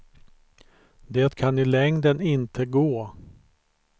Det kan i längden inte gå.